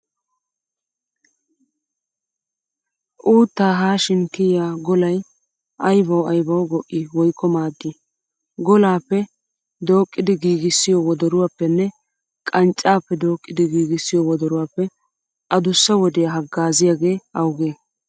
Uuttaa haashin kiya golay aybawu aybawu go"ii woykko maaddii? Golaappe dooqqidi giigissiyo wodoruwaappenne qanccaappe dooqqidi giigissiyo wodoruwaappe adussa wodiyaa haggaaziyagee awugee?